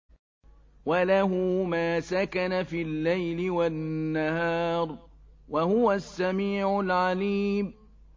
۞ وَلَهُ مَا سَكَنَ فِي اللَّيْلِ وَالنَّهَارِ ۚ وَهُوَ السَّمِيعُ الْعَلِيمُ